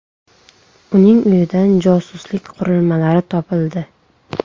Uning uyidan josuslik qurilmalari topildi.